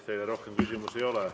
Teile rohkem küsimusi ei ole.